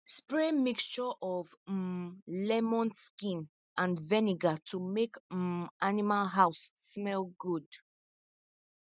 spray mixture of um lemon skin and vinegar to make um animal house smell good